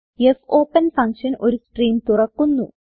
fopen function ഒരു stream തുറക്കുന്നു